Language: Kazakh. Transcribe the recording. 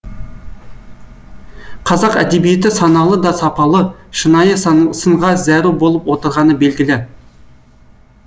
қазақ әдебиеті саналы да сапалы шынайы сынға зәру болып отырғаны белгілі